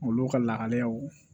Olu ka lahalayaw